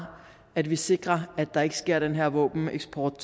at vi sikrer at der ikke sker den her våbeneksport